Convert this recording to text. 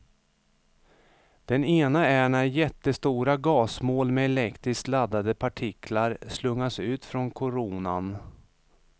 Den ena är när jättestora gasmoln med elektriskt laddade partiklar slungas ut från koronan.